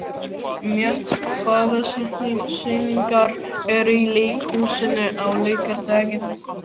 Mjöll, hvaða sýningar eru í leikhúsinu á laugardaginn?